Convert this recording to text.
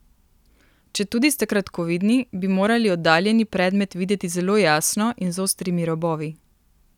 Četudi ste kratkovidni, bi morali oddaljeni predmet videti zelo jasno in z ostrimi robovi.